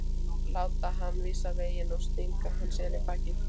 Láta hann vísa veginn og stinga hann síðan í bakið?